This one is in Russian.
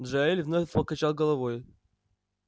джаэль вновь покачал головой